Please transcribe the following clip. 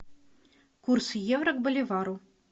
курс евро к боливару